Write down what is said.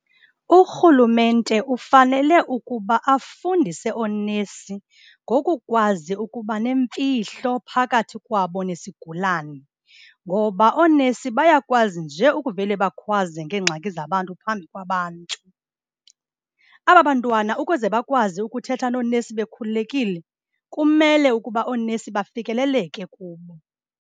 Urhulumente ufanele ukuba afundise oonesi ngokukwazi ukuba nemfihlo phakathi kwabo nesigulani, ngoba oonesi bayakwazi nje ukuvele bakhwaze ngeengxaki zabantu phambi kwabantu. Aba bantwana ukuze bakwazi ukuthetha noonesi bekhululekile, kumele ukuba oonesi bafikeleleke kubo.